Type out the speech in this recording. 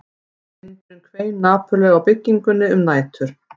Vindurinn hvein napurlega á byggingunni um nætur